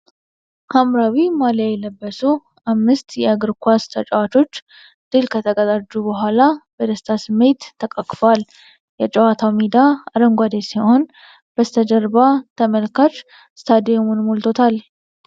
ሐምራዊ ማልያ የለበሱ አምስት የእግር ኳስ ተጫዋቾች ድል ከተቀዳጁ በኋላ በደስታ ተቃቅፈዋል። የጨዋታው ሜዳ አረንጓዴ ሲሆን፣ በስተጀርባ ተመልካች ስታዲየሙን ሞልቶታል።